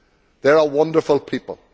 They are a wonderful people.